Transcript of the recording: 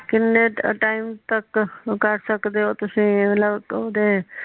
ਕਿਨ੍ਹੇ ਟਾਇਮ ਤਕ ਉਹ ਕਰ ਸਕਦੇ ਓ ਤੁਸੀ ਮਤਲਬ ਓਦੇ